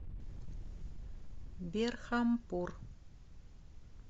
берхампур